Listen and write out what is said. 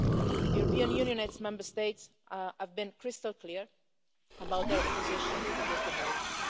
The European Union and its Member States have been crystal clear about their opposition to this demolition.